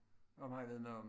Om han ved noget om